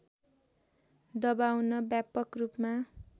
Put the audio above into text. दबाउन व्यापक रूपमा